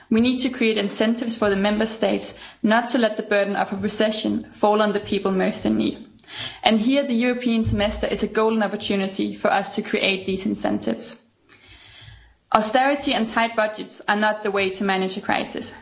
We need to create incentives for the Member States not to let the burden of a recession fall on the people most in need, and here the European Semester is a golden opportunity for us to create these incentives. Austerity and tight budgets are not the way to manage the crisis.